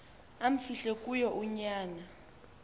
amfihle kuyo unyana